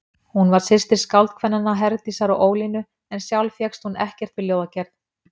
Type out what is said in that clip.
Hún var systir skáldkvennanna, Herdísar og Ólínu, en sjálf fékkst hún ekkert við ljóðagerð.